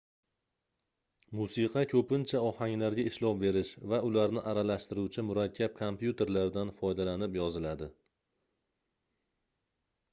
musiqa koʻpincha ohanglarga ishlov berish va ularni aralashtiruvchi murakkab kompyuterlardan foydalanib yoziladi